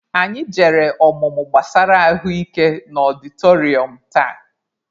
Anyị jere ọmụmụ gbasara ahụ ike na ọdịtọrịọm taa.